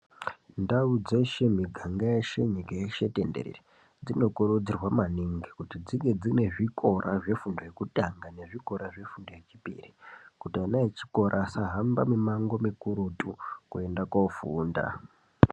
Ndau dzeshe miganga yeshe nyika yeshe tenderere, dzinokurudzirwa maningi kuti dzinge dzine zvikora zvefundo yekutanga nezvikora zvefundo yechipiri. Kuti ana echikora asahamba mumango mukurutu koenda kofunda.